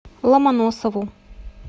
ломоносову